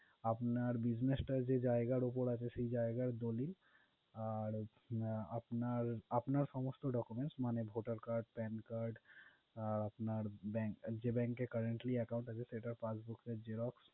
আপনার business টা যেই জায়গার উপর আছে সে জায়গার দলিল, আর আপনার সমস্ত documents মানে Voter card, pan card আপনার bank যে bank এ currently account আছে সেটার passbook এর xerox